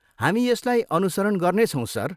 हामी यसलाई अनुसरण गर्नेछौँ, सर।